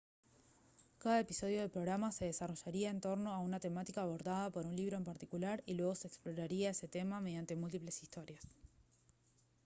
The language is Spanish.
cada episodio del programa se desarrollaría en torno a una temática abordada por un libro en particular y luego se exploraría ese tema mediante múltiples historias